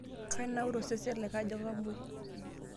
Kenaura osesen lai kajo kamwoi.